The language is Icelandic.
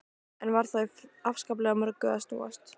Enn var þó í afskaplega mörgu að snúast.